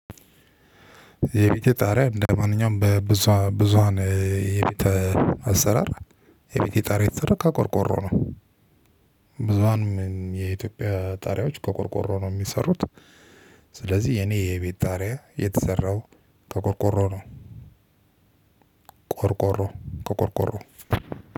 የቤቴ ጣሪያ እንደማንኛውም በብዙሃን የቤት አሰራር የቤቴ ጣሪያ የተሰራው ከቆርቆሮ ነው። ብዙሃንም የኢትዮጵያ ጣሪያዎች ከቆርቆሮ ነው የሚሰሩት። ስለዚህ የኔ የቤት ጣሪያ የተሰራው ከቆርቆሮ ነው። ቆርቆሮ ከቆርቆሮ